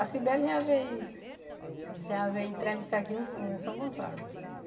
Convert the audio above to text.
A Sibeli já veio já veio entrevistar aqui um um São Gonçalo.